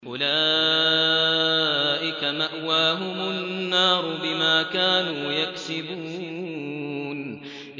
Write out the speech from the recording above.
أُولَٰئِكَ مَأْوَاهُمُ النَّارُ بِمَا كَانُوا يَكْسِبُونَ